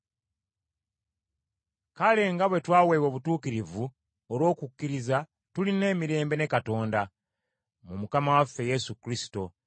Kale nga bwe twaweebwa obutuukirivu olw’okukkiriza tulina emirembe ne Katonda, mu Mukama waffe Yesu Kristo,